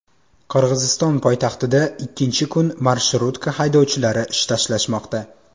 Qirg‘iziston poytaxtida ikkinchi kun marshrutka haydovchilari ish tashlashmoqda.